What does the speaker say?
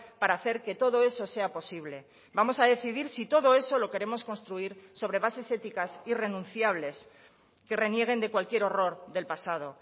para hacer que todo eso sea posible vamos a decidir si todo eso lo queremos construir sobre bases éticas irrenunciables que renieguen de cualquier horror del pasado